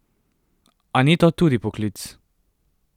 A ni to tudi poklic?